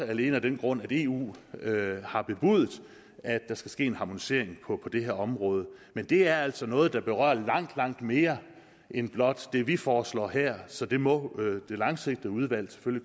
alene af den grund at eu har bebudet at der skal ske en harmonisering på det her område men det er altså noget der berører langt langt mere end blot det vi foreslår her så det må man det langsigtede udvalgsarbejde